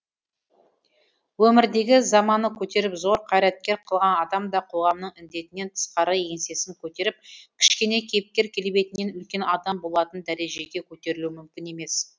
өмірдегі заманы көтеріп зор қайраткер қылған адам да қоғамның індетінен тысқары еңсесін көтеріп кішкене кейіпкер келбетінен үлкен адам болатын дәрежеге көтерілуі мүмкін емес